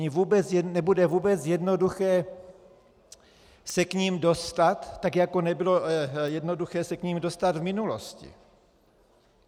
Nebude vůbec jednoduché se k nim dostat, tak jako nebylo jednoduché se k nim dostat v minulosti.